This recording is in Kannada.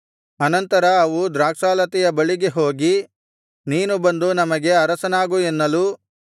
ಅನಂತರ ಅವು ದ್ರಾಕ್ಷಾಲತೆಯ ಬಳಿಗೆ ಹೋಗಿ ನೀನು ಬಂದು ನಮಗೆ ಅರಸನಾಗು ಎನ್ನಲು